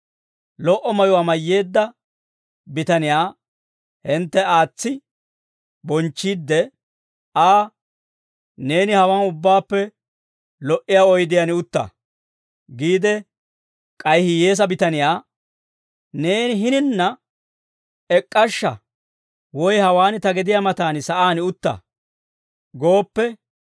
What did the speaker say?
lo"o mayuwaa mayyeedda bitaniyaa hintte aatsi bonchchiidde Aa, «Neeni hawaan ubbaappe lo"iyaa oydiyaan utta» giide k'ay hiyyeesaa bitaniyaa, «Neeni hininna ek'k'ashsha; woy hawaan ta gediyaa matan sa'aan utta» gooppe,